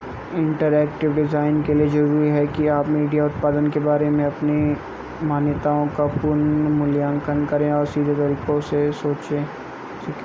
interactive design के लिए ज़रूरी है कि आप मीडिया उत्पादन के बारे में अपनी मान्यताओं का पुनर्मूल्यांकन करें और सीधे तरीकों से सोचना सीखें